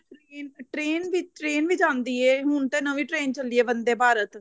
train train ਵੀ ਜਾਂਦੀ ਏ ਹੁਣ ਤੇ ਨਵੀ train ਚੱਲੀ ਐ ਵੰਦੇ ਭਾਰਤ